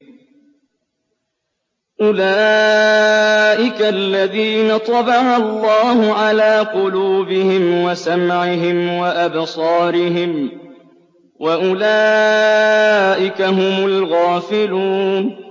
أُولَٰئِكَ الَّذِينَ طَبَعَ اللَّهُ عَلَىٰ قُلُوبِهِمْ وَسَمْعِهِمْ وَأَبْصَارِهِمْ ۖ وَأُولَٰئِكَ هُمُ الْغَافِلُونَ